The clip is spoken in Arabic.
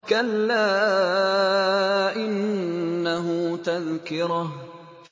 كَلَّا إِنَّهُ تَذْكِرَةٌ